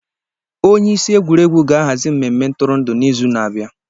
Onye isi egwuregwu ga-ahazi mmemme ntụrụndụ n'izu na-abịa.